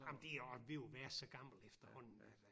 Ah men det er også ved at være så gammelt efterhånden